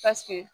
Paseke